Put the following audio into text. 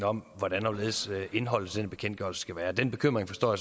om hvordan og hvorledes indholdet i den bekendtgørelse skal være den bekymring forstår